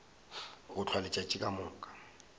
go hlwa letšatši ka moka